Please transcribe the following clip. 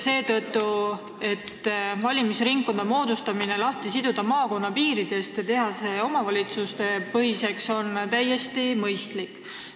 Seetõttu on valimisringkonna moodustamise lahtisidumine maakonnapiiridest ja omavalitsustepõhiseks tegemine täiesti mõistlik.